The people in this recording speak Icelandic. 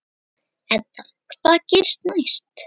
Edda: Hvað gerist næst?